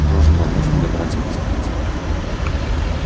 ты должен помочь мне добраться до станции